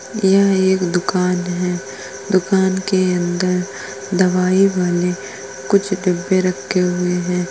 यह एक दुकान है। दुकान के अंदर दवाई वाले कुछ डिब्बे रके हुए हैं।